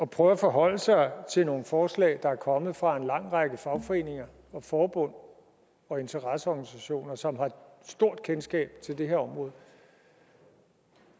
prøve at forholde sig til nogle forslag der er kommet fra en lang række fagforeninger og forbund og interesseorganisationer som stort kendskab til det her område